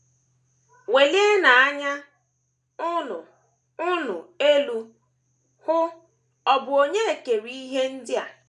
“ Welienụ anya unu unu elu, hụ: ọ̀ bụ Onye kere ihe ndị a? ”